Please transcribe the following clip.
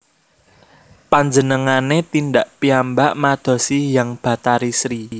Panjenengane tindak piyambak madosi Hyang Bathari Sri